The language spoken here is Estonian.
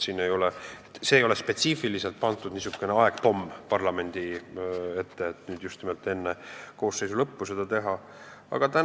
Siin ei ole spetsiifiliselt mingit aegpommi parlamendi ette pandud, et just nimelt enne selle koosseisu ametiaja lõppu tuleb asi ära teha.